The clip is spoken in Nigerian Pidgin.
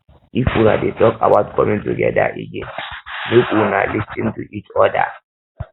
if una dey talk about coming together again make una lis ten to each oda